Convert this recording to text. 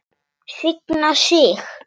Signa sig?